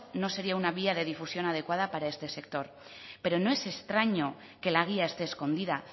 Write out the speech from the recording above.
no sería una guía de difusión adecuada para este sector pero no es extraño que la guía esté escondida